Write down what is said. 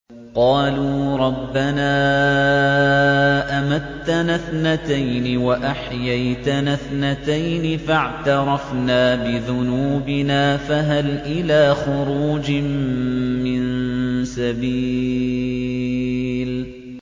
قَالُوا رَبَّنَا أَمَتَّنَا اثْنَتَيْنِ وَأَحْيَيْتَنَا اثْنَتَيْنِ فَاعْتَرَفْنَا بِذُنُوبِنَا فَهَلْ إِلَىٰ خُرُوجٍ مِّن سَبِيلٍ